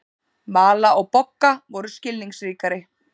Vala og Bogga voru skilningsríkari.